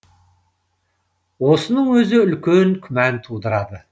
осының өзі үлкен күмән тудырады